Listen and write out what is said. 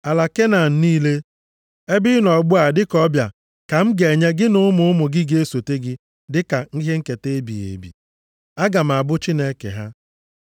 Ala Kenan niile, ebe ị nọ ugbu a dịka ọbịa ka m ga-enye gị na ụmụ ụmụ gị ga-esote gị dịka ihe nketa ebighị ebi. Aga m abụ Chineke ha.”